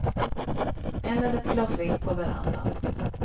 Eller ett glas vitt på verandan.